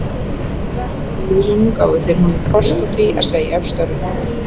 Össurar á Þjóðviljanum gáfu þeir honum kost á því að segja upp störfum.